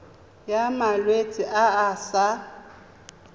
ya malwetse a a sa